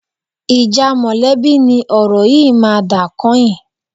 Ìjà mọ̀lẹ́bí ni ọ̀rọ̀ yìí máa dà kányìn